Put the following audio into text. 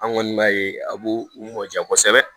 An kɔni b'a ye a b'u u mɔn diya kosɛbɛ